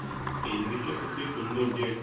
এই জিনিস টা সত্যিই সুন্দর যে